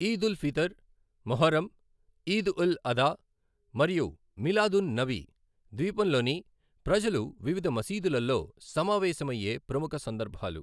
ఈద్ ఉల్ ఫీతర్, ముహర్రం, ఈద్ ఉల్ అదా మరియు మిలాద్ ఉన్ నబీ ద్వీపంలోని ప్రజలు వివిధ మసీదులలో సమావేశమయ్యే ప్రముఖ సందర్భాలు.